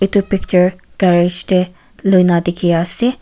itu picture garage teh luina dikhi ase.